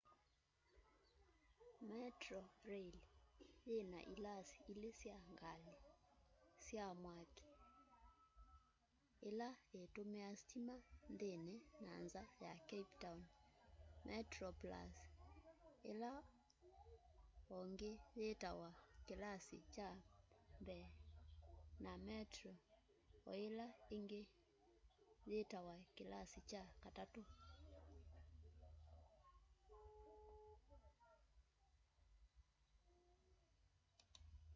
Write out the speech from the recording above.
metroraĩl yĩna ĩlasĩ ĩle sya ngalĩ sya mwakĩ ĩla ĩtũmĩa sĩtĩma nthĩnĩ na nza ya cape town: metroplũs ĩla ongĩ yitawa kĩlasĩ kya mbee na metro oĩla ĩngĩ yitawa kĩlasĩ kya katatũ